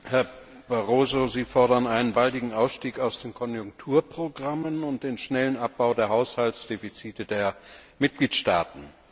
Herr Präsident! Sie fordern einen baldigen Ausstieg aus den Konjunkturprogrammen und den schnellen Abbau der Haushaltsdefizite der Mitgliedstaaten.